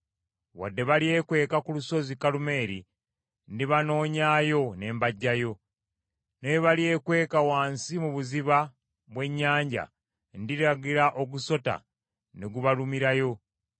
Wadde balyekweka ku lusozi Kalumeeri, ndibanoonyaayo ne mbaggyayo. Ne bwe balyekweka wansi mu buziba bw’ennyanja ndiragira ogusota ne gubalumirayo.